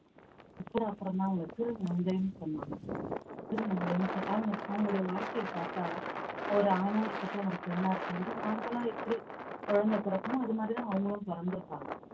அவங்கள திருநங்கைன்னு சொன்னாங்க திருநங்கைன்னுட்டு அவங்க அவங்களுடைய வாழ்க்கைய பாத்தா ஒரு ஆணா இருக்கட்டும் ஒரு பெண்ணா இருக்கும்போது normal லா எப்படி குழந்தை பிறக்குமோ அது மாதிரிதான் அவங்களும் பொறந்திருப்பாங்க